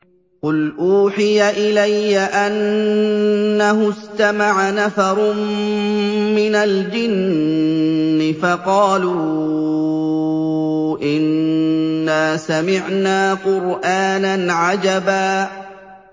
قُلْ أُوحِيَ إِلَيَّ أَنَّهُ اسْتَمَعَ نَفَرٌ مِّنَ الْجِنِّ فَقَالُوا إِنَّا سَمِعْنَا قُرْآنًا عَجَبًا